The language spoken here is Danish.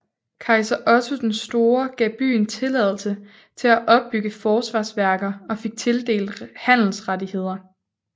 Kejser Otto den Store gav byen tilladelse til at opbygge forsvarsværker og fik tildelt handelsrettigheder